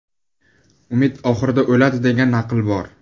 Umid oxirida o‘ladi, degan naql bor.